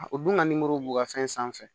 O dun ka b'u ka fɛn sanfɛ